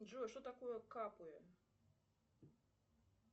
джой что такое капы